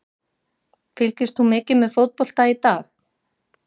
Fylgist þú mikið með fótbolta í dag?